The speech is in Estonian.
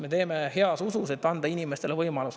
Me teeme heas usus, et anda inimestele võimalus.